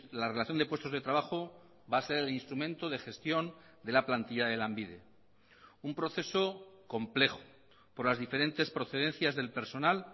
la relación de puestos de trabajo va a ser el instrumento de gestión de la plantilla de lanbide un proceso complejo por las diferentes procedencias del personal